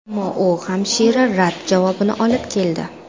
Ammo u hamisha rad javobini olib keldi.